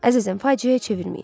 Əzizim, faciəyə çevirməyin.